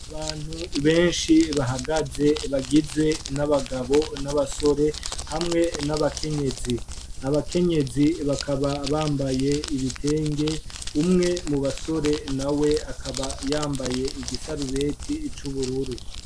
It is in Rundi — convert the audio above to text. Abantu benshi bahagaze, bagizwe n'abagabo n'abasore; hamwe n'abakenyezi. Abakenyezi bakaba bambaye ibitenge, umwe mu basore na we akaba yambaye igisarubeti c'ubururu.